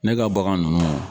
Ne ka bagan ninnu